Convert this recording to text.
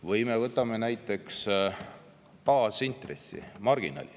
Või võtame näiteks baasintressi, marginaali.